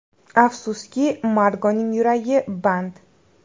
Afsuski, Margoning yuragi band.